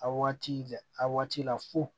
A waati de a waati la fo